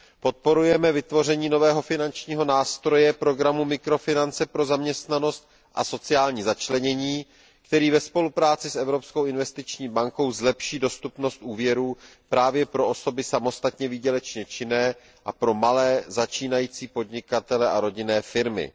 Podporujeme vytvoření nového finančního nástroje programu mikrofinance pro zaměstnanost a sociální začlenění, který ve spolupráci s Evropskou investiční bankou zlepší dostupnost úvěrů právě pro osoby samostatně výdělečně činné a pro malé začínající podnikatele a rodinné firmy.